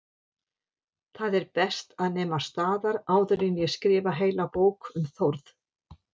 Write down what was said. Það er best að nema staðar áður en ég skrifa heila bók um Þórð